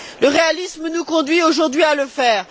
Le réalisme nous conduit aujourd'hui à le faire.